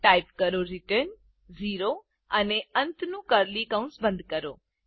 type કરો return 0 અને અંતનું કર્લી કૌસ બંધ કરો